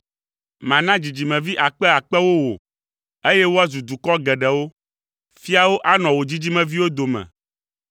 Mana dzidzimevi akpe akpewo wò, eye woazu dukɔ geɖewo! Fiawo anɔ wò dzidzimeviwo dome!